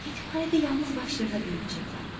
Yetimxanədə yalnız başlarına böyüyəcəklər.